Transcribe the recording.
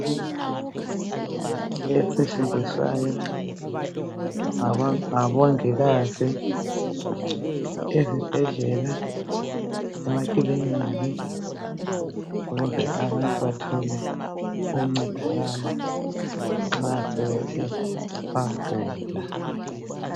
Imitshina esetshenziswayo ngabongikazi ezibhedlela, emakiliki ukuze abantu bathole ukuncedakala nxa sebethe bagula.